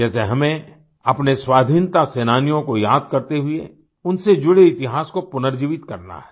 जैसे हमें अपने स्वाधीनता सेनानियों को याद करते हुए उनसे जुड़े इतिहास को पुनर्जीवित करना है